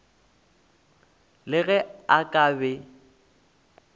le ge a ka be